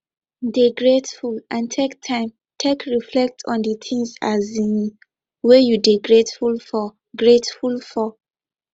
dey grateful and take time take reflect on di things um wey you dey greatful for greatful for